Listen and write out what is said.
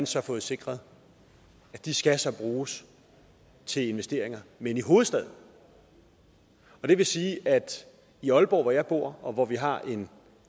så fået sikret skal bruges til investeringer men i hovedstaden og det vil sige at i aalborg hvor jeg bor og hvor vi har en